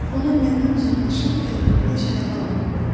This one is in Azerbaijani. Onu məndən uzaqlaşan qəlbini necə ələ alım?